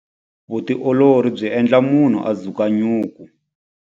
Vutiolori byi endla munhu a dzuka nyuku.